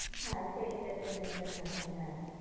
হ্যাঁ সেই entertainment টা থাকে। হ্যাঁ